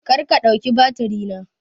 Karka ɗauki batiri na!